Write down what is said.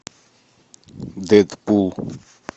дедпул